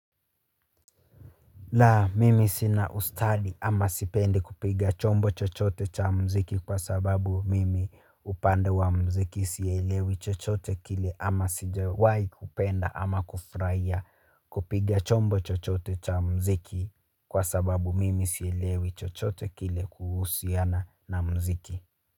La, mimi sina ustadi ama sipendi kupiga chombo chochote cha mziki kwa sababu mimi upande wa mziki sielewi chochote kile ama sijawahi kupenda ama kufurahia kupiga chombo chochote cha mziki kwa sababu mimi sielewi chochote kile kuhusiana na mziki.